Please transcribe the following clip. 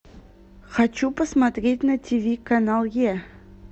хочу посмотреть на тиви канал е